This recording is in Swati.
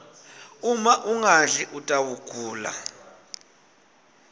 uma ungadli utawgula